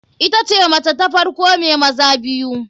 Itace mace ta farko mai maza biyu.